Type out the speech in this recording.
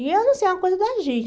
E eu não sei, é uma coisa da gente.